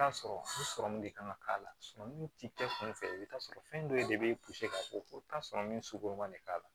T'a sɔrɔmu de kan ka k'a la min t'i kɛ kunfɛ i bɛ t'a sɔrɔ fɛn dɔ de bɛ ka fɔ ko ka sɔrɔ min sogo ma ne k'a la